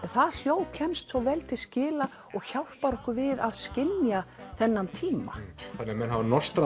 það hljóð kemst svo vel til skila og hjálpar okkur við að skilja þennan tíma þannig menn hafa